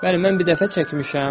Bəli, mən bir dəfə çəkmişəm.